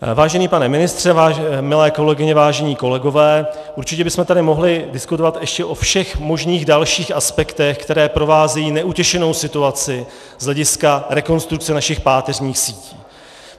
Vážený pane ministře, milé kolegyně, vážení kolegové, určitě bychom tady mohli diskutovat ještě o všech možných dalších aspektech, které provázejí neutěšenou situaci z hlediska rekonstrukce našich páteřních sítí.